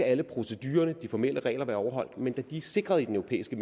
alle procedurerne og de formelle regler skal være overholdt men da de er sikret i den europæiske